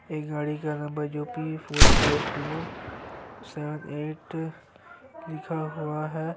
एक गाड़ी का नंबर जो की four five zero seven eight लिख हुआ है।